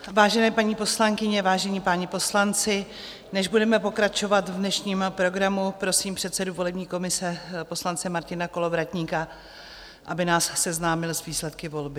Vážené paní poslankyně, vážení páni poslanci, než budeme pokračovat v dnešním programu, prosím předsedu volební komise poslance Martina Kolovratníka, aby nás seznámil s výsledky volby.